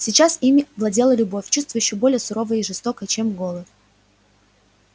сейчас ими владела любовь чувство ещё более суровое и жестокое чем голод